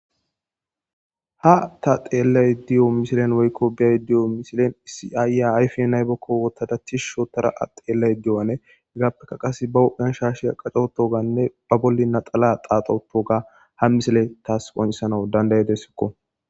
Aa ta xeelay diyo misilen woykko bey diyo misilen isiayya ayfe naybokko wotadatih shootara a xeellay diyo7ane higaappeka qase ba hodhanshashiya qacoto ganne ba bolli naxala xaaxoto ga ha misile taas qoncesana dandayedesikko